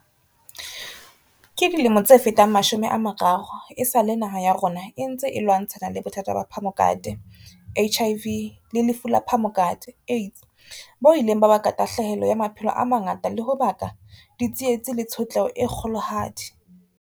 Ka dilemo tse fetang mashome a mararo, esale naha ya rona e ntse e lwantshana le bothata ba phamokate, HIV, le lefu la phamokate, AIDS, bo ileng ba baka tahlahelo ya maphelo a mangata le ho baka ditsietsi le tshotleho e kgolohadi.